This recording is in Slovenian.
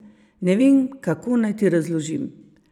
Ne vem, kako naj ti razložim.